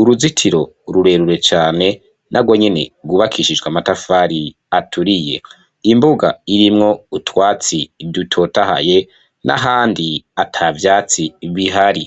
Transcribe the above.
uruzitiro rurerure cane narwonyene rwubakishijwe amatafari aturiye, imbuga irimwo utwatsi dutotahaye n'ahandi atavyatsi bihari.